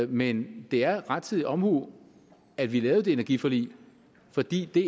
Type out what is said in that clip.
men det er rettidig omhu at vi lavede det energiforlig fordi det